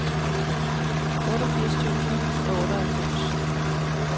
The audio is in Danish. otteogfirs tusind og otteoghalvfems